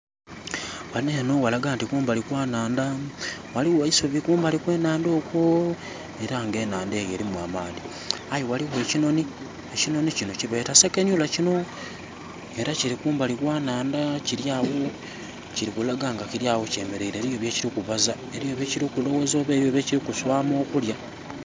Wano eno walaga nti kumbali kwanaandha. Waliwo eisubi kumbali kwenaandha okwo era nga enaandha eyo erimu amaadhi aye waliwo ekinoni. Ekinoni kino kyebeeta sekanolya kino era kiri kumbali kwanaandha kiryawo. Kiri kulaga nga kiryawo kyemereire eriyo byekiri kubaaza, eriyo byekiri kuswama okulya